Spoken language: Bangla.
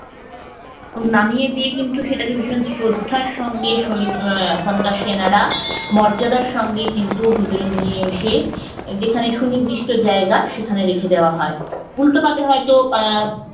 নামিয়ে দিয়ে কিন্তু সেটাকে ভীষণ শ্রদ্ধার সঙ্গে আহ ওখানকার সেনারা মর্যাদার সঙ্গে কিন্তু ভেতরে নিয়ে এসে যেখানে সুনির্দিষ্ট জায়গা সেখানে রেখে দেওয়া হয় উল্টো পাশে হয়তো আহ